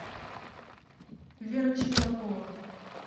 вера чеблакова